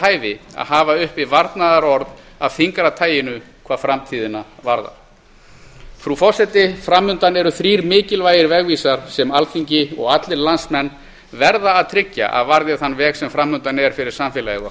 hæfi að hafa uppi varnaðarorð af þyngra taginu hvað framtíðina varðar frú forseti fram undan eru þrír mikilvægir vegvísar sem alþingi og allir landsmenn verða að tryggja að varði þann veg sem fram undan er fyrir samfélagið